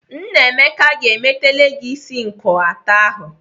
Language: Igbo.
Nnaemeka ga-emeteli gị isi nkọato ahụ.